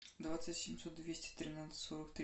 двадцать семьсот двести тринадцать сорок три